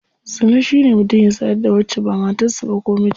Zina shine mutum ya sadu da wacce ba matar sa ba ko mijinta.